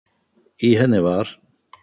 í henni var